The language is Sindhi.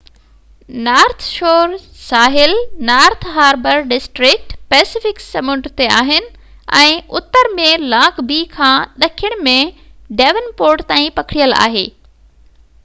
نارٿ شور ساحل نارٿ هاربر ڊسٽرڪٽ پئسيفڪ سمنڊ تي آهن ۽ اتر ۾ لانگ بي کان ڏکڻ ۾ ڊيون پورٽ تائين پکڙيل آهي